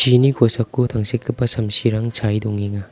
chini kosako tangsekgipa samsirang chae dongenga.